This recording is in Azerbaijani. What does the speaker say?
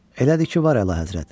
Elədir ki, var Əlahəzrət.